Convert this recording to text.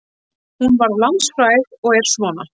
Hún varð landsfræg og er svona: